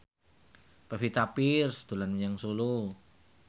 Pevita Pearce dolan menyang Solo